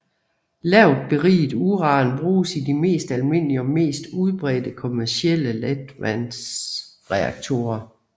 Lavt beriget uran bruges i de mest almindelige og mest udbredte kommercielle letvandsreaktorer